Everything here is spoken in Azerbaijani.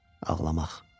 Ağlamaq.